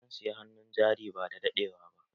Zan siya hannun jari badadaɗewa ba.